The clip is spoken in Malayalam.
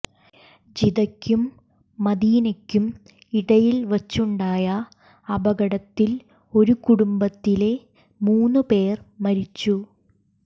ജിദ്ദക്കും മദീനക്കും ഇടയിൽവച്ചുണ്ടായ അപകടത്തിൽ ഒരു കുടുംബത്തിലെ മൂന്ന് പേർ മരിച്ചു